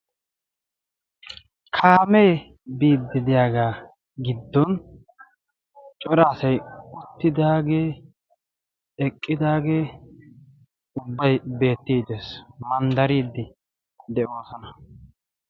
Kaamee biiddidiyaagaa giddon coraasai uttidaagee eqqidaagee ubbay beettii dees. manddariiddi de'oosana.